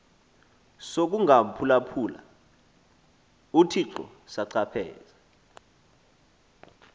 sokungamphulaphuli uthixo sachaphazela